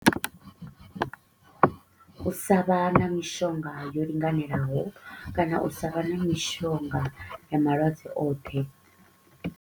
U sa vha na mishonga yo linganelaho kana u sa vha na mishonga ya malwadze oṱhe.